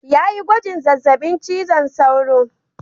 Ya yi gwajin zazzabin cizon sauro.